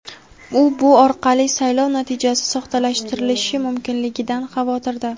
U bu orqali saylov natijasi soxtalashtirilishi mumkinligidan xavotirda.